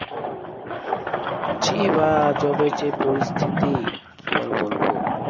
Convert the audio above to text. ছি ভাইয়া job এর যে পরিস্থিতি, কি আর বলবো।